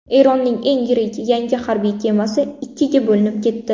Eronning eng yirik yangi harbiy kemasi ikkiga bo‘linib ketdi.